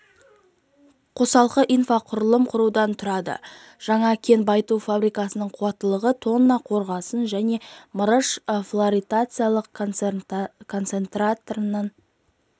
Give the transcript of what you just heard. қосалқы инфрақұрылым құрудан тұрады жаңа кен байыту фабрикасының қуаттылығы тонна қорғасын және мырыш флотациялық концентраттарын